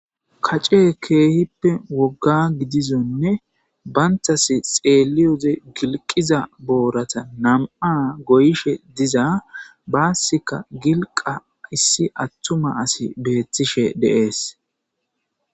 Kace keehippe wogga gidizonne bayntas xeelioze gilqiza boorata nam'a goyishe diza baassika gilqa issi attuma asi beettishe deees.